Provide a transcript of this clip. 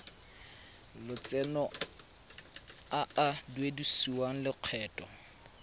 lotseno a a duedisiwang lokgetho